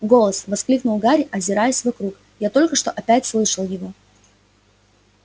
голос воскликнул гарри озираясь вокруг я только что опять слышал его